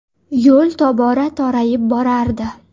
Yo‘l tobora torayib borardi.